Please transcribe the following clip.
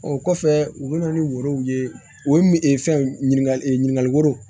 O kɔfɛ u bɛna ni woro ye u ye min fɛn ɲininka ɲininkali woro